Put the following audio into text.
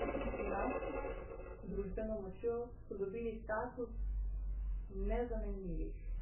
S finančno družbeno močjo so dobili status nezamenljivih.